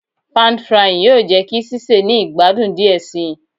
Pàn frying yoo jẹ ki sise ni igbadun diẹ sii